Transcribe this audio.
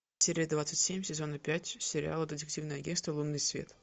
серия двадцать семь сезона пять сериала детективное агентство лунный свет